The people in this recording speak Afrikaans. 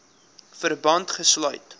verband gesluit